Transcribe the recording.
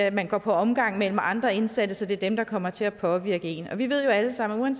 at man går på omgang mellem andre indsatte så det er dem der kommer til at påvirke én vi ved jo alle sammen